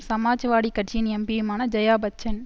சமாஜ்வாடி கட்சியின் எம்பியுமான ஜெயாபச்சன்